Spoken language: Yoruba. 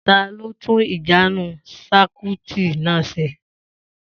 Ta ló tun ìjánun sákúitì náà ṣe?